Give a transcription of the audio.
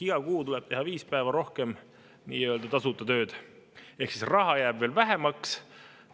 Iga kuu tuleb teha viis päeva rohkem nii-öelda tasuta tööd ehk raha jääb veel vähemaks.